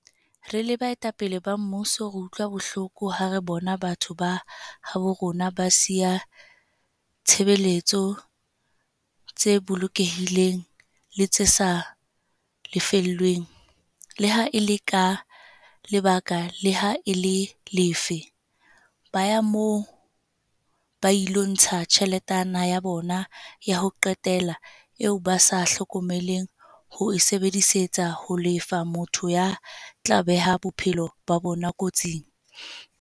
"Re le baetapele ba mmuso re utlwa bohloko ha re bona batho ba habo rona ba siya ditshebeletso tse bolokehileng le tse sa lefellweng, le ha e le ka lebaka le ha e le lefe, ba ya moo ba ilo ntsha tjheletana ya bona ya ho qetela eo ba sa hlokeng ho e sebedisetsa ho lefa motho ya tla beha bophelo ba bona kotsing."